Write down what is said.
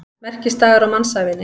Merkisdagar á mannsævinni.